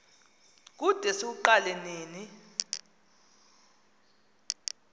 kude siwuqale nini